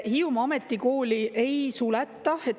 Hiiumaa Ametikooli ei suleta.